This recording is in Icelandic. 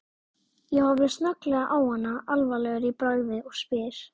Ég horfi snögglega á hana alvarlegur í bragði og spyr